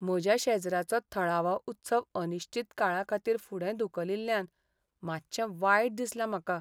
म्हज्या शेजराचो थळावो उत्सव अनिश्चित काळाखातीर फुडें धुकलिल्ल्यान मातशें वायट दिसलां म्हाका.